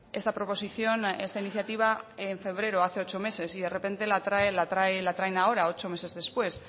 esta proposición esta iniciativa en febrero hace ocho meses y de repente la traen la traen ahora ocho meses después